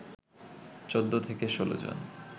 ১৪ থেকে ১৬ জন